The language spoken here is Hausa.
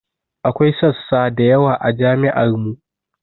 Akwai sassa da yawa a jami'ar mu